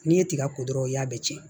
N'i ye tiga ko dɔrɔn o y'a bɛɛ cɛn